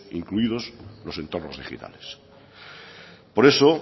incluidos los entornos digitales por eso